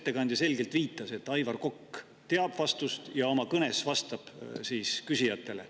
Ettekandja viitas selgelt, et Aivar Kokk teab vastust ja oma kõnes vastab küsijatele.